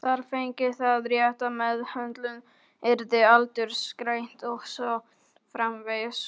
Þar fengi það rétta meðhöndlun, yrði aldursgreint og svo framvegis.